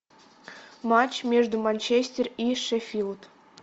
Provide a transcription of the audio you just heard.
матч между манчестер и шеффилд